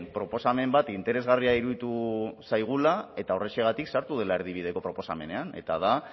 proposamen bat interesgarria iruditu zaigula eta horrexegatik sartu dela erdibideko proposamenean eta da